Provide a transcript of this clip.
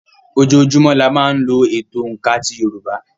Ojoojúmọ́ la máa ń lò ètò òǹkà ti yorùbá